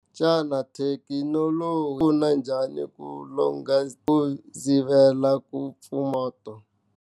Xana thekinoloji pfuna njhani ku sivela ku mpfumato.